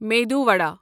meadow وڈا